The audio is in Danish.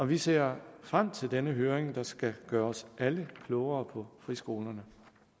vi ser frem til den høring der skal gøre os alle klogere på friskolerne